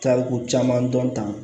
Taari ko caman dɔn tan